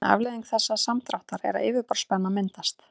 ein afleiðing þessa samdráttar er að yfirborðsspenna myndast